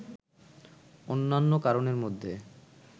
অন্যান্য কারণের মধ্যে